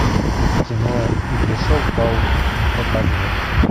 кино и пришел паук показывай